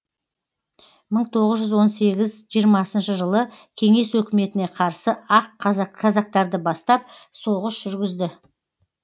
мың тоғыз жүз он сегіз жиырмасыншы жылы кеңес өкіметіне қарсы ақ казактарды бастап соғыс жүргізді